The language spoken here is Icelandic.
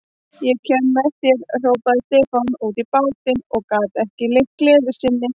Ég kem með þér, hrópaði Stefán út í bátinn og gat ekki leynt gleði sinni.